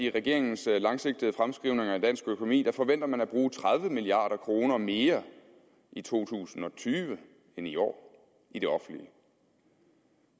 i regeringens langsigtede fremskrivninger af dansk økonomi forventer at bruge tredive milliard kroner mere i to tusind og tyve end i år i det offentlige